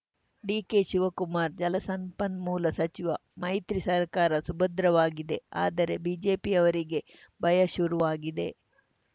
ಡಿಕೆಶಿವಕುಮಾರ್‌ ಜಲಸಂಪನ್ಮೂಲ ಸಚಿವ ಮೈತ್ರಿ ಸರ್ಕಾರ ಸುಭದ್ರವಾಗಿದೆ ಆದರೆ ಬಿಜೆಪಿಯವರಿಗೇ ಭಯ ಶುರುವಾಗಿದೆ